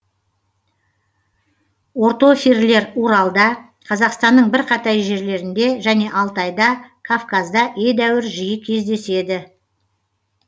ортофирлер уралда қазақстанның бірқатар жерлерінде және алтайда кавказда едәуір жиі кездеседі